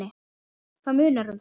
Það munar um það.